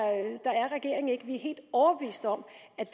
regeringen ikke vi er helt overbevist om